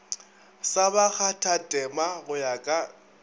sa bakgathatema go ya ka